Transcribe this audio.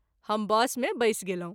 हम बस मे बैसि गेलहुँ।